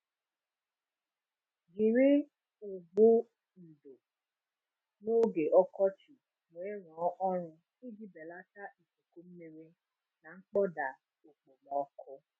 Jiri ụgbụ ndò n'oge ọkọchị weerụọ ọrụ iji belata ikuku mmiri na mkpọda okpomọkụ.